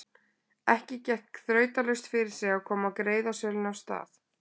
Ekki gekk þrautalaust fyrir sig að koma greiðasölunni af stað.